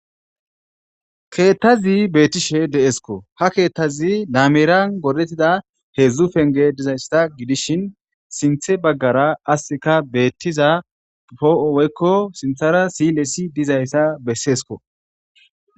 keettazi beettishe de'esko ha keettazi laamiran godettida heedzdzu penge dizayssa gidishin sinthe baggara asika beettiza poo'o weykko sinthara silesi dizayssa besseesko